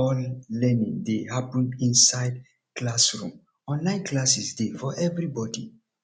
all learning dey happen inside classroom online classes dey for everybody